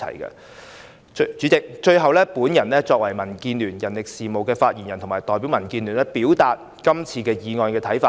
代理主席，最後，我作為民建聯人力事務的發言人，代表民建聯表達我們對本議案的看法。